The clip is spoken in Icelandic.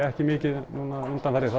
ekki mikið núna undanfarið